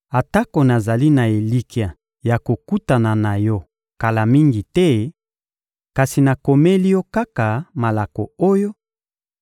Atako nazali na elikya ya kokutana na yo kala mingi te, kasi nakomeli yo kaka malako oyo